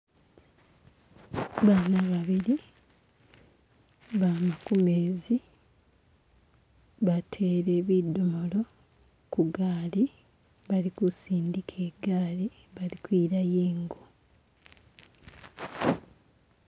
Bana babili bama kumezi batele bidomolo kugali bali kusindika igali bali kwilayo ingo